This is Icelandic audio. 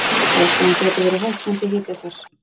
Ástæðan gæti verið hækkandi hitafar